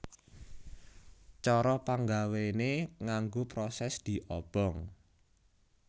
Cara panggawéné nganggo prosès diobong